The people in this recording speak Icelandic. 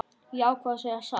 Ég ákvað að segja satt.